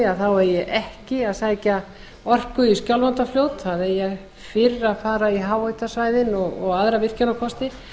á norðausturlandi eigi ekki að sækja orku í skjálfandafljót það eigi fyrr að fara í háhitasvæðin og aðra virkjunarkosti